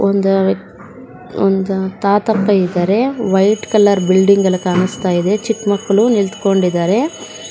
ಒಂದ ಒಂದ ತಾತಪ್ಪ ಇದಾರೆ ವೈಟ್ ಕಲರ್ ಬಿಲ್ಡಿಂಗ್ ಎಲ್ಲಾ ಕಾನಸ್ತಾ ಇದೆ ಚಿಕ್ಕ ಮಕ್ಕಳು ನಿಂತ್ಕೊಂಡಿದ್ದಾರೆ.